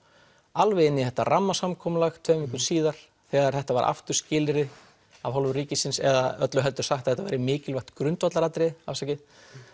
alveg inn í þetta rammasamkomulag tveim vikum síðar þegar þetta var aftur skilyrði af hálfu ríkisins eða öllu heldur sagt að þetta væri mikilvægt grundvallaratriði afsakið